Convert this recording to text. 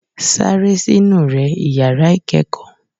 saré sinu rẹ ìyàrá ìkẹẹkọ!